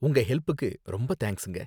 உங்க ஹெல்ப்புக்கு ரொம்ப தேங்க்ஸுங்க.